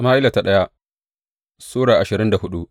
daya Sama’ila Sura ashirin da hudu